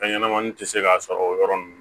Fɛn ɲɛnɛmani ti se ka sɔrɔ o yɔrɔ nunnu